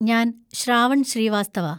ഞാൻ ശ്രാവൺ ശ്രീവാസ്തവ.